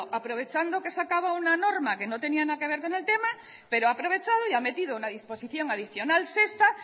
aprovechando que se acaba una norma que no tenía nada que ver con el tema pero ha aprovechado y ha metido una disposición adicional sexta